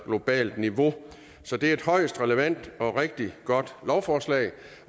globalt niveau så det er et højst relevant og rigtig godt lovforslag